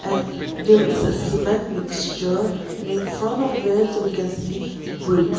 and there is a cement mixture and in front of it we can see brick.